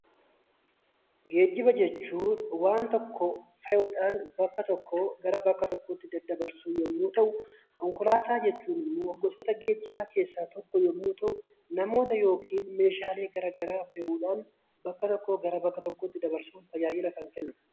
Geejjiba jechuun waan tokko fe'uudhaan bakka tokkoo gara bakka biraatti daddabarsuu yommuu ta'u, konkolaataa jechuun immoo gosoota geejjibaa keessaa tokko yeroo ta'u, namoota yookiin meeshaalee gara garaa fe'uudhaan bakka tokkoo bakka biraatti dabarsuun tajaajila kan kennudha.